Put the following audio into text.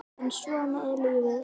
En svona er lífið.